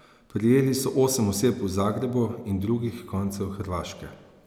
Prijeli so osem oseb v Zagrebu in drugih koncev Hrvaške.